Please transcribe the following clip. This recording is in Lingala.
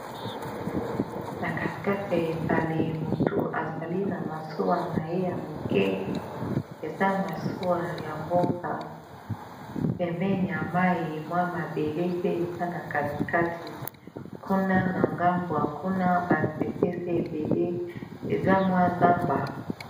Na katikati ya ebale motu azali na masuwa na ye ya moke eza masuwa ya mboka pembeni ya mayi mwa mabele pe eza na kati kati kuna na ngambu kuna ba nzete eza ebele eza mwa zamba.